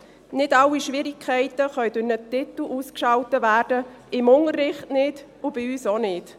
Nicht alle Schwierigkeiten können durch einen Titel ausgeschaltet werden, weder im Unterricht noch bei uns.